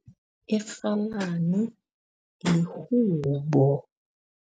Irhalani ihubo.